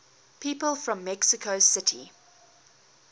people from mexico city